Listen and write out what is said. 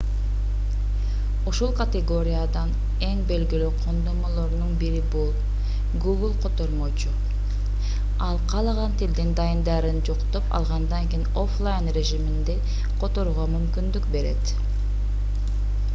ушул категориядан эң белгилүү колдонмолорунун бири бул google котормочу ал каалаган тилдин дайындарын жүктөп алгандан кийин оффлайн режиминде которууга мүмкүндүк берет